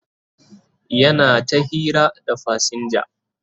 yana ta hira da fasinja